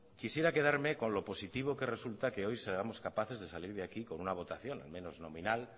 quisiera quedarme con lo positivo que resulta que hoy seamos capaces de salir de aquí con una votación al menos nominal